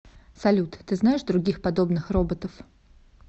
салют ты знаешь других подобных роботов